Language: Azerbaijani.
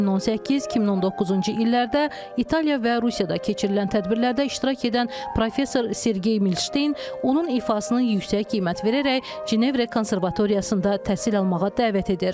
2018-2019-cu illərdə İtaliya və Rusiyada keçirilən tədbirlərdə iştirak edən professor Sergey Milşteyn onun ifasına yüksək qiymət verərək Cenevrə Konservatoriyasında təhsil almağa dəvət edir.